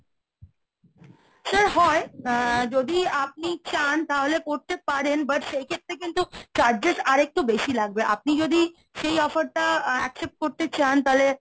sir হয় অ্যা যদি আপনি চান তাহলে করতে পারেন but সেই ক্ষেত্রে কিন্তু charges আরেকটু বেশি লাগবে। আপনি যদি সেই offer টা accept করতে চান তাহলে,